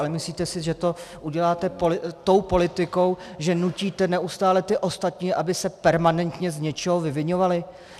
Ale myslíte si, že to uděláte tou politikou, že nutíte neustále ty ostatní, aby se permanentně z něčeho vyviňovali?